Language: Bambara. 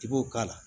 I b'o k'a la